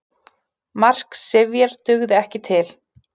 Mark Sifjar dugði ekki til